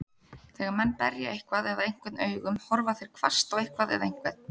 Þegar menn berja eitthvað eða einhvern augum, horfa þeir hvasst á eitthvað eða einhvern.